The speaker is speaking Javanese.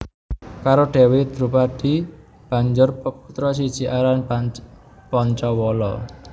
Karo Dewi Drupadi banjur peputra siji aran Pancawala